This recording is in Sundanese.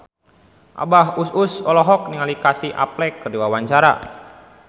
Abah Us Us olohok ningali Casey Affleck keur diwawancara